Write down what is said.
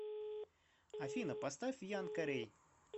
афина поставь ян карей